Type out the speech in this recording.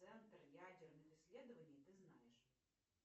центр ядерных исследований ты знаешь